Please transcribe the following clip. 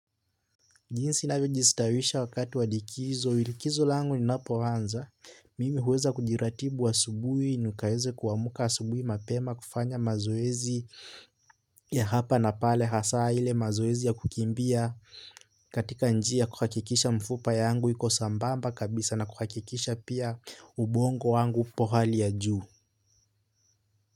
Jinsi navojistawisha wakati wa likizo, ilikizo lango linapoanza, mimi huweza kujiratibu asubuhi, nikaweze kuamka asubuhi mapema kufanya mazoezi ya hapa na pale hasaa ile mazoezi ya kukimbia katika njia kuhakikisha mfupa yangu iko sambamba kabisa na kuhakikisha pia ubongo wangu upo hali ya juu.